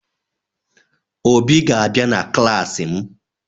Obi ga-abịa na klaasị m